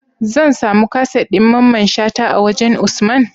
Zan samu kaset din mamman shata a wajan usman?